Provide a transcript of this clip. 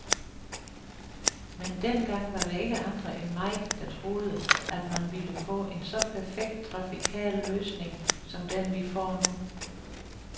Men dengang var der ikke andre end mig, der troede, at man ville få en så perfekt trafikal løsning, som den vi får nu.